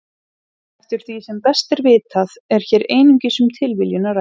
Eftir því sem best er vitað er hér einungis um tilviljun að ræða.